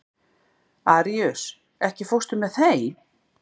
Aríus, ekki fórstu með þeim?